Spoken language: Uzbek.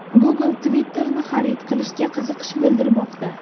Google Twitter’ni xarid qilishga qiziqish bildirmoqda.